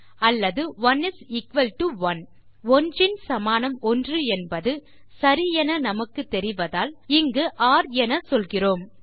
அல்லது 1 is equal to 1 1ன் சமானம்1 என்பது சரி என நமக்கு தெரிவதால் இங்கு ஒர் என சொல்கிறோம்